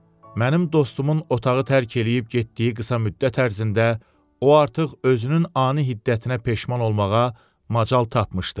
Mənim dostumun otağı tərk eləyib getdiyi qısa müddət ərzində o artıq özünün ani hiddətinə peşman olmağa macal tapmışdı.